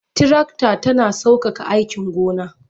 Tirakta tana sauƙaƙa aikin gona.